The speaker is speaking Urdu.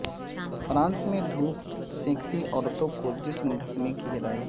فرانس میں دھوپ سینکتی عورتوں کو جسم ڈھکنے کی ہدایت